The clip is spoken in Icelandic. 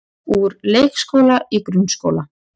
Úr leikskóla í grunnskóla